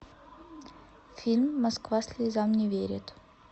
фильм москва слезам не верит